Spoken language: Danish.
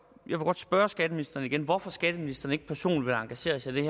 spørge skatteministeren igen hvorfor skatteministeren ikke personligt vil engagere sig i